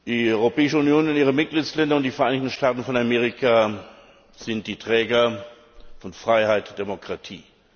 Die Europäische Union und ihre Mitgliedstaaten und die Vereinigten Staaten von Amerika sind die Träger von Freiheit und Demokratie.